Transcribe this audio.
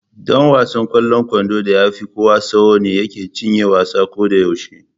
Ɗan wasan ƙwallon kwandon da ya fi kowa tsawo ne yake cinye wasan ko da yaushe.